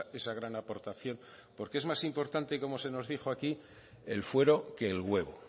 esa gran aportación porque es más importante como se nos dijo aquí el fuero que el huevo